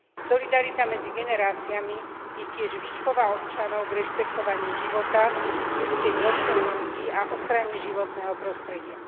Solidarita medzi generáciami je tiež výchova občanov k rešpektovaniu života, ľudskej dôstojnosti a ochrane životného prostredia.